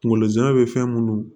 Kungolo zɛmɛ bɛ fɛn minnu